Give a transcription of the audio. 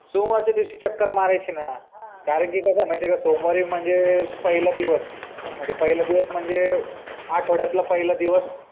सोमवारचा दिवशी चक्कर मारायची ना कारण कि कस हाय म्हायती ना सोमवारी म्हणजे पहिला दिवस आहे ब्र पहिला दिवस म्हणजे आठवड्यातला पहिला दिवस